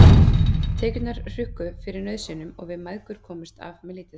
Tekjurnar hrukku fyrir nauðsynjum og við mæðgur komumst af með lítið.